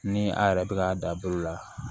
Ni a yɛrɛ bɛ k'a da bolo la